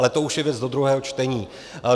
Ale to už je věc do druhého čtení.